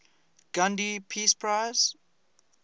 gandhi peace prize